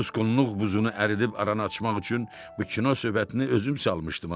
Susqunluq buzunu əridib aranı açmaq üçün bu kino söhbətini özüm salmışdım.